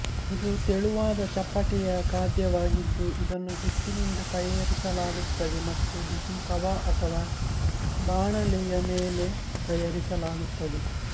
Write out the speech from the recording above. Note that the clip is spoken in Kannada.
ಇದು ತೆಳುವಾದ ಚಪ್ಪಟೆಯ ಖಾದ್ಯವಾಗಿದ್ದು ಇದನ್ನು ಹಿಟ್ಟಿನಿಂದ ತಯಾರಿಸಲಾಗುತ್ತದೆ ಮತ್ತು ಬಿಸಿ ತವಾ ಅಥವಾ ಬಾಣಲೆಯ ಮೇಲೆ ತಯಾರಿಸಲಾಗುತ್ತದೆ